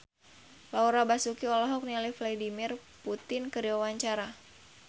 Laura Basuki olohok ningali Vladimir Putin keur diwawancara